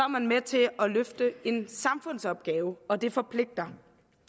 man med til at løfte en samfundsopgave og det forpligter